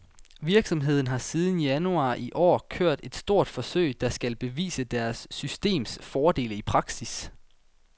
Virksomheden har siden januar i år kørt et stort forsøg, der skal bevise deres systems fordele i praksis.